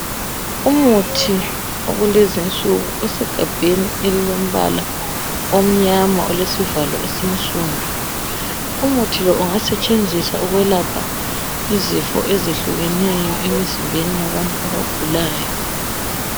Umuthi wakulezinsuku usegabheni elilombala omnyama, olesivalo esinsundu umuthi lo ungasetshenziswa ukwelapha izifo ezehlukeneyo emizimbeni yabantu abagulayo.